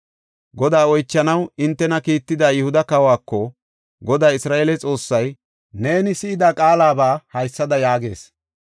Godaa oychanaw hintena kiitida Yihuda kawako, ‘Goday Isra7eele Xoossay neeni si7ida qaalaba haysada yaagees;